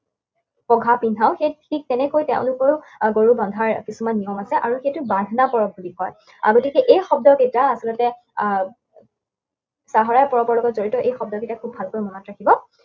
পঘা পিন্ধাও, সেই ঠিক তেনেকৈ তেওঁলোকৰ গৰু বন্ধাৰ কিছুমান নিয়ম আছে। আৰু সেইটোক বান্ধনা পৰৱ বুলি কয়। আহ গতিকে এই শব্দকেইটা আপোনালোকে আহ চাহৰাই পৰৱৰ লগত জড়িত এই শব্দকেইটা খুব ভালকৈ মনত ৰাখিব।